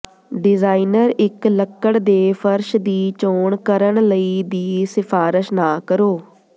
designer ਇੱਕ ਲੱਕੜ ਦੇ ਫਰਸ਼ ਦੀ ਚੋਣ ਕਰਨ ਲਈ ਦੀ ਸਿਫਾਰਸ਼ ਨਾ ਕਰੋ